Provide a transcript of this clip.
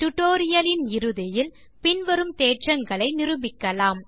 tutorial லில் இறுதியில் பின்வரும் தேற்றங்களை நிருபிக்கலாம்